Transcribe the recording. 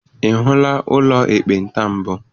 Ị hụla ụlọ ekpenta mbụ?